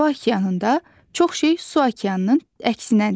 Hava okeanında çox şey su okeanının əksinədir.